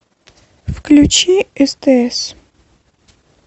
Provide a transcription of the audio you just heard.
включи стс